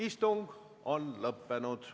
Istung on lõppenud.